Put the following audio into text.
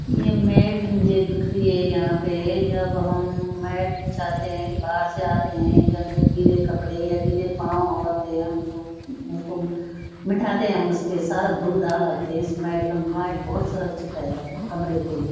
ये मैट मुझे दिख रही है यहाँ पे है जब हम मैट बिछाते हैं कि बाहर से आते हैं जब गीले कपड़े या गीले पाँव आते हैं तो उसको बिठाते हैं हम उसपे सारा धूल-धाल लगता है इस मेट मेट बहोत सुरक्षित है कमरे के लिए।